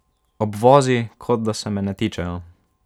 Obvozi, kot da se me ne tičejo.